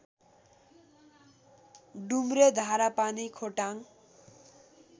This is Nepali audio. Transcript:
डुम्रे धारापानी खोटाङ